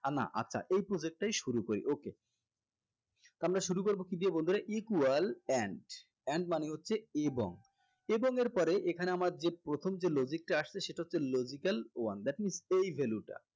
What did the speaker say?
আহ না আচ্ছা এই project টাই শুরু করি okay আমরা শুরু করবো কি দিয়ে বন্ধুরা equal and and মানে হচ্ছে এবং এবং এর পরে এখানে আমাদের যে প্রথম যে logic টা আসছে সেটা হচ্ছে logical one that means